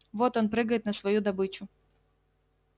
вот он прыгает на свою добычу